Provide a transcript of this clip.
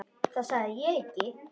Það sagði ég ekki